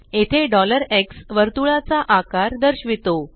येथे x वर्तुळा चा आकार दर्शिवितो